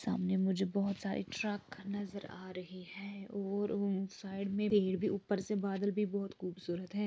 सामने मुझे बहुत सारे ट्रक नज़र आ रहे हैं और उन साइड में पेड़ भी ऊपर से बादल भी बहुत खूबसूरत है।